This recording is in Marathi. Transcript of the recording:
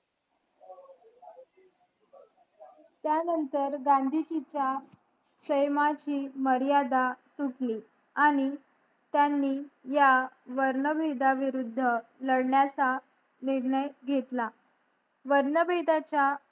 ह्यां नतंर गांधीजी च्या प्रेमाची मर्यादा चुली आणि त्यांना या वर्ण भेदा विरुद्ध लडण्याचा निर्णय घेतला वर्ण भेदाच्या